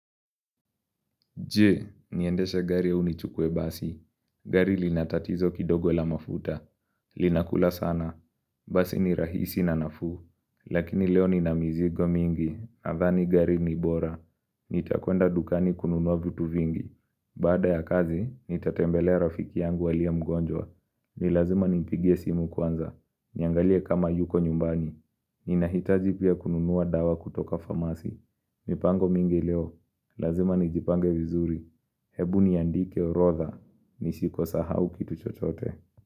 Je, niendeshe gari au nichukue basi? Gari linatatizo kidogo la mafuta, linakula sana. Basi ni rahisi na nafuu. Lakini leo ninamizigo mingi. Nadhani gari ni bora. Nitakwenda dukani kununua vitu vingi. Baada ya kazi, nitatembelea rafiki yangu aliye mgonjwa. Ni lazima nimpigie simu kwanza. Niangalie kama yuko nyumbani. Ninahitaji pia kununua dawa kutoka famasi. Mipango mingi leo. Lazima nijipange vizuri Hebu niandike orodha nisikosahau kitu chochote.